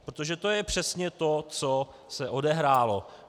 Protože to je přesně to, co se odehrálo.